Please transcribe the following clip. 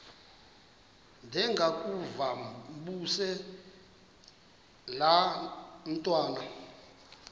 ndengakuvaubuse laa ntwana